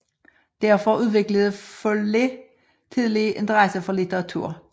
Derfor udviklede Follett tidligt interesse for litteratur